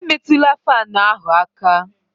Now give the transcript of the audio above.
Emetụla fáan ahụ aka